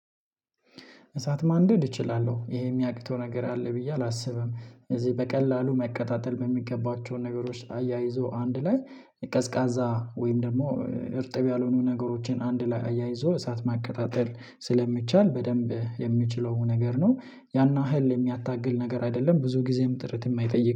እሳት ማንደድ እችላለሁ ይሄ እሚያቅተው ነገር አለ ብዬ አላስብም። እዚህ በቀላሉ መቀማመሠታተል በሚገባቸው ነገሮች አያይዞ አንድ ላይ ቀዝቃዛ ወይም ደግሞ እርጥብ ያልሆኑ ነገሮችን አንድ ላይ አያይዞ እሳት ማቀጣጠል ስለሚቻል በደንብ የምችለው ነገር ነው። ያን ያህል የሚያታግል ነገር አይደለም ብዙ ጊዜም ጥረት የማይጠይቅ